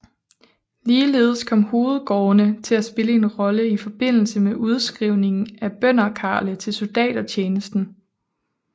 Ligeledes kom hovedgårdene til at spille en rolle i forbindelse med udskrivninger af bønderkarle til soldatertjenesten